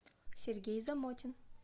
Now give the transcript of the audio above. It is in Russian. сергей замотин